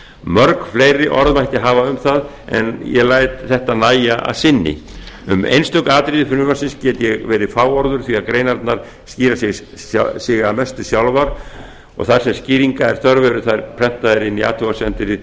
mörg fleiri orð mætti hafa um það en ég læt þetta nægja að sinni um einstök atriði frumvarpsins get ég verið fáorður því að greinarnar skýra sig að mestu sjálfar þar sem skýringa er þörf eru þær prentaðar í athugasemdum